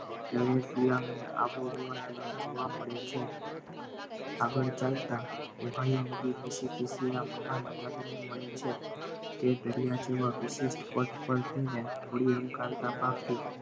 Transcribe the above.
દરેક ગુલામને આબોહવા તેને જોવા મળે છે આગળ ચાલતાં ઉહયો ને મિસીપીસી ના મહાન મળે છે તે દરિયા જેવા વિશિષ્ટ પરથી ને